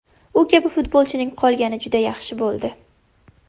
U kabi futbolchining qolgani juda yaxshi bo‘ldi.